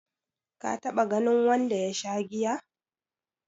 ka taba ganin wanda ya Sha giya?